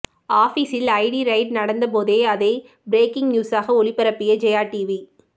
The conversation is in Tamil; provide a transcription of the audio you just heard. ஆபீசில் ஐடி ரெய்டு நடந்தபோதே அதை பிரேக்கிங் நியூஸாக ஒளிபரப்பிய ஜெயா டிவி